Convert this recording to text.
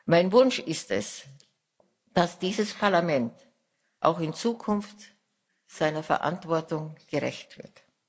Mein Wunsch ist es, dass dieses Parlament auch in Zukunft seiner Verantwortung gerecht wird.